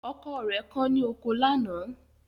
Ọkọ rẹ̀ kán ní oko lánàá